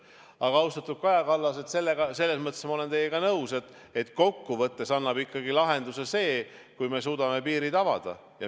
Aga, austatud Kaja Kallas, selles mõttes olen ma teiega nõus, et kokkuvõttes annab ikkagi lahenduse see, kui me suudame piirid avada.